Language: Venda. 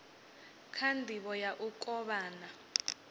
kha ndivho ya u kovhana